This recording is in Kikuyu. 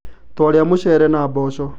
Twarĩa mũcere na mboco